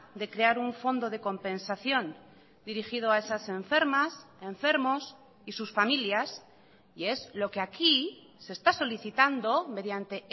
de crear un fondo de compensación dirigido a esas enfermas enfermos y sus familias y es lo que aquí se está solicitando mediante